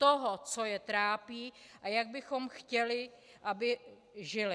Toho, co je trápí a jak bychom chtěli, aby žili?